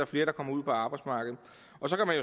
flere der kommer ud på arbejdsmarkedet